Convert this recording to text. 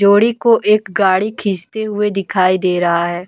जोड़ी को एक गाड़ी खींचते हुए दिखाई दे रहा है।